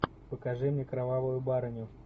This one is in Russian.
покажи мне кровавую барыню